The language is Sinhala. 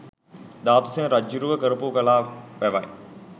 ධාතුසේන රජ්ජුරුවෝ කරපු කලා වැවයි